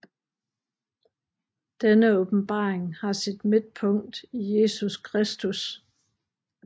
Denne åbenbaring har sit midtpunkt i Jesus Kristus